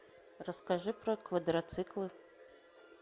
расскажи про квадроциклы